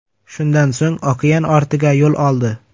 Shundan so‘ng, okean ortiga yo‘l oldi.